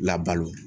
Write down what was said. Labalo